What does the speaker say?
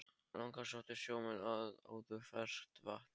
Þangað sóttu sjómenn áður ferskt vatn.